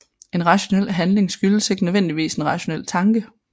En rationel handling skyldes ikke nødvendigvis en rationel tanke